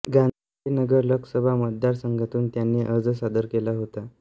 गांधीनगर लोकसभा मतदारसंघातून त्यांनी अर्ज सादर केला होता